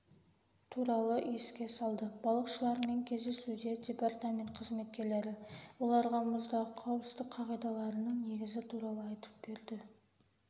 туралы еске салды балықшылармен кездесуде департамент қызметкерлері оларға мұздағы қауіпсіздік қағидаларының негізі туралы айттып берді